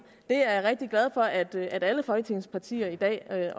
jeg er rigtig glad for at alle folketingets partier i dag